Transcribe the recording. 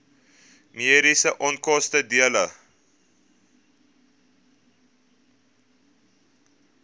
mediese onkoste dele